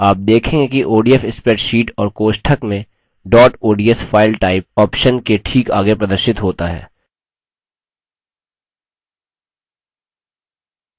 आप देखेंगे कि odf spreadsheet और कोष्ठक में dot ods file type file type option के ठीक आगे प्रदर्शित होता है